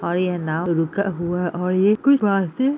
और ये नाव रखा हुवा है और ये कुछ --